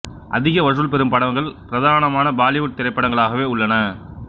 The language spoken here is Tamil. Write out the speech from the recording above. அதிக வசூல் பெரும் படங்கள் பிரதானமாக பாலிவுட் திரைப்படங்களாகவே உள்ளன